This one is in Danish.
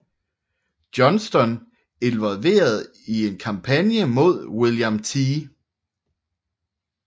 Johnston involveret i en kampagne mod William T